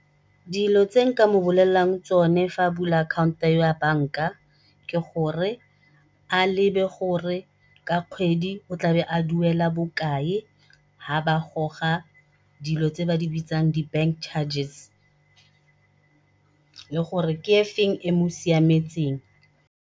Dilo tse nka mo bolelelang tsone fa a bula akhaonto ya banka, ke gore a lebe gore ka kgwedi o tlabe a duela bokae ga ba goga dilo tse ba di bitsang di-bank charges le gore ke efeng e mosiametseng.